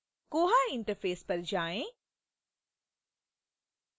koha interface पर जाएँ